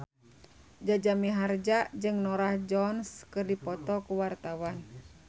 Jaja Mihardja jeung Norah Jones keur dipoto ku wartawan